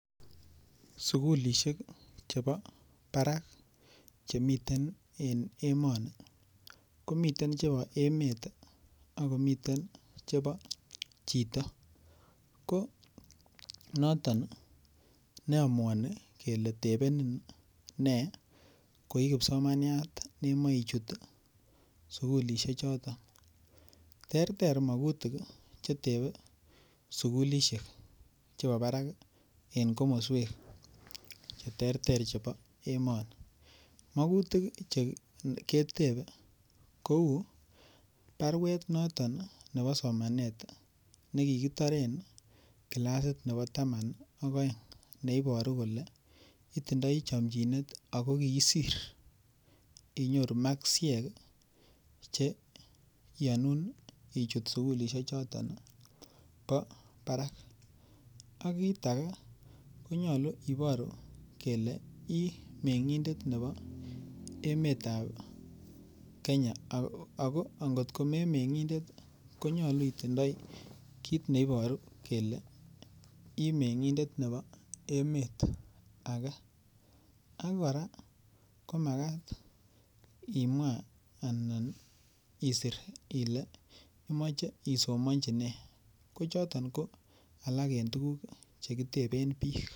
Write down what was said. sugulishek chebo baraak chemiten en emoni, komiten chebo emet ak komiten chebo chito, ko noton neomuoni kele tebenin nee koii kipsomaniat nemoichut sugulishek choton, terter mogutik iih chetebe sugulishek chebo baraak en komosweek cheterter chebo emoni, mogutik chegitebe kouu barweet noton nevbo somaneet negigitoreen kilasit nebo taman ak oeng, neiboru kole itindoii chomchineet ago kiisir inyoru makisyeek cheiyonuun ichut sugulishek choton bo baraak, ak kiit age konyolu iboru ile imengindet nebo emet ab kenya, ago angot komemengindet konyolu itindoi kiit neiboru kele iih mengindet nebo emeet age, ak koraa komagaat isiir ile imoche isomonchi nee kochoton ko alak en tuguk chegitebeen biik.